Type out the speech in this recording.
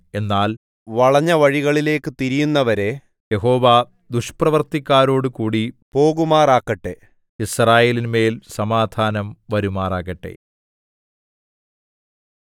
എന്നാൽ വളഞ്ഞവഴികളിലേക്കു തിരിയുന്നവരെ യഹോവ ദുഷ്പ്രവൃത്തിക്കാരോടുകൂടി പോകുമാറാക്കട്ടെ യിസ്രായേലിന്മേൽ സമാധാനം വരുമാറാകട്ടെ